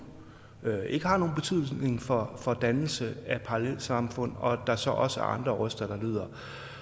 ikke har nogen betydning for for dannelse af parallelsamfund og at der så også er andre røster der lyder